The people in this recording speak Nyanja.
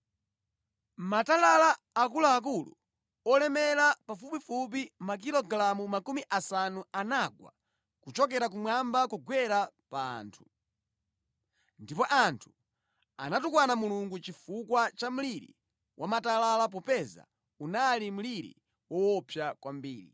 Matalala akuluakulu olemera pafupifupi makilogalamu makumi asanu anagwa kuchokera kumwamba kugwera pa anthu. Ndipo anthu anatukwana Mulungu chifukwa cha mliri wa matalala popeza unali mliri woopsa kwambiri.